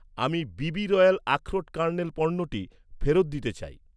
আমি, BB royal আখরোট kernel পণ্যটি, ফেরত দিতে চাই।